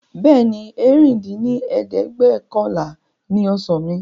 Bẹ́ẹ̀ni, ẹ̀rin dín ní ẹ̀ẹ́dẹ́gbẹ́ọ̀kànlá ni ọ̀sán mi